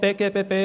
BGBB